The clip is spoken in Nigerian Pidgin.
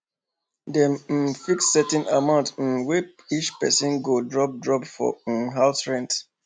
dem um fix certain amount um wey each person go drop drop for um house rent